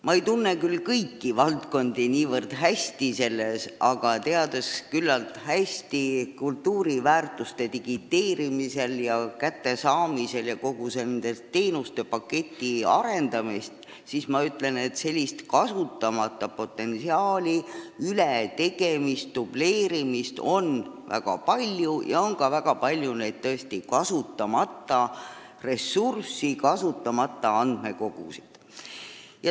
Ma ei tunne küll kõiki valdkondi niivõrd hästi, aga olles küllalt hästi kursis kultuuriväärtuste digiteerimisega, kättesaadavusega ja kogu selle teenustepaketi arendamisega, ütlen, et kasutamata potentsiaali, ületegemist ja dubleerimist on väga palju ning väga palju on tõesti ka kasutamata ressursse, kasutamata andmekogusid.